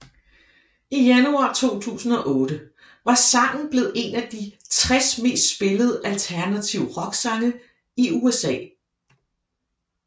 I januar 2008 var sangen blevet en af de 60 mest spillede alternative rocksange i USA